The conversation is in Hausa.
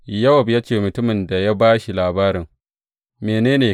Yowab ya ce wa mutumin da ya ba shi labarin, Mene!